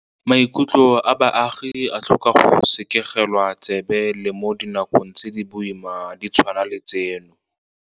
Maikutlo a baagi a tlhoka go sekegelwa tsebe le mo dinakong tse di boima di tshwana le tseno.